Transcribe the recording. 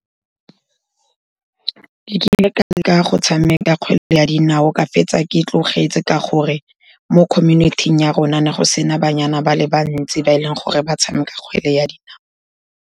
Ke kile ka leka go tshameka kgwele ya dinao, ka fetsa ke tlogetse ka gore mo community-ing ya rona ne go sena banyana ba le bantsi ba e leng gore ba tshameka kgwele ya dinao.